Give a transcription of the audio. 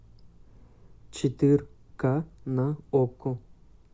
четырка на окко